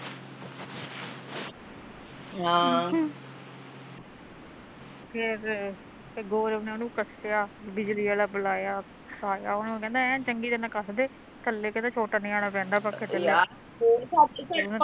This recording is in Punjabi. ਹਾਂ ਫੇਰ, ਫਿਰ ਗੌਰਵ ਨੇ ਉਹਨੂੰ ਕੱਟਿਆ, ਬਿਜਲੀ ਆਲਾ ਬਲਾਇਆ, ਉਹਨੂੰ ਕਹਿੰਦਾ ਐ ਨੂੰ ਚੰਗੀ ਤਰਾ ਕੱਸ ਦੇ, ਕੱਲੇ ਕਹਿੰਦਾ ਚੋਟਾ ਨਿਆਣਾ ਪੈਂਦਾ ਪੱਖੇ ਥੱਲੇ